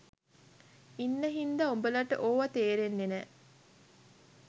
ඉන්න හින්දා උඹලට ඕවා තේරෙන්නේ නෑ